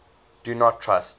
do not trust